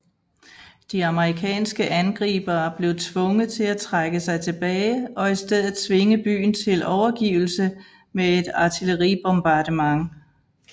De amerikanske angribere blev tvunget til at trække sig tilbage og i stedet tvinge byen til overgivelse med et artilleribombardement